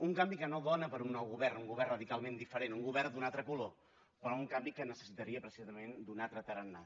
un canvi que no dóna per a un nou govern un govern radicalment diferent un govern d’un altre color però un canvi que necessitaria precisament un altre tarannà